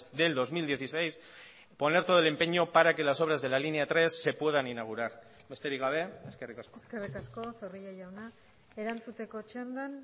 del dos mil dieciséis poner todo el empeño para que las obras de la línea tres se puedan inaugurar besterik gabe eskerrik asko eskerrik asko zorrilla jauna erantzuteko txandan